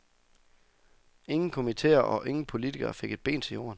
Ingen komiteer og ingen politikere fik et ben til jorden.